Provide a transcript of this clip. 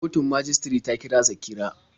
Kotun majistare ta kira Zakira.